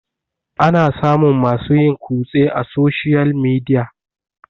ana samun masu yin kutse a soshiyal midia